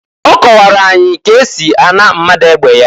Ọ kọwara anyị ka esi a na mmadu egbe ya.